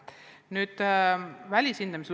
Nüüd välishindamisest.